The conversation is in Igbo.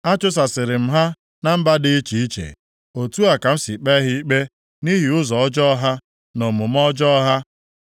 Achụsasịrị m ha na mba dị iche iche. Otu a ka m si kpee ha ikpe nʼihi ụzọ ọjọọ ha, na omume ọjọọ ha.